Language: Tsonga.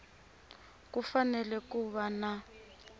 ku fanele ku va na